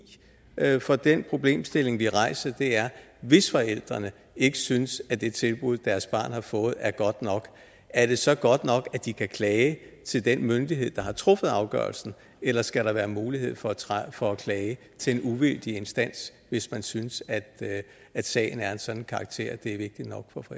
at bruge for den problemstilling vi rejser er hvis forældrene ikke synes at det tilbud som deres barn har fået er godt nok er det så godt nok at de kan klage til den myndighed der har truffet afgørelsen eller skal der være mulighed for for at klage til en uvildig instans hvis man synes at sagen er af en sådan karakter